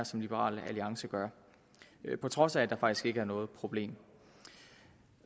som liberal alliance gør her på trods af at der faktisk ikke er noget problem